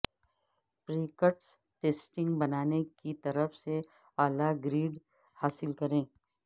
practice testing بنانے کی طرف سے اعلی گریڈ حاصل کریں